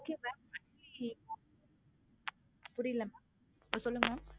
புரியல mam ஆஹ் சொல்லுங்க mam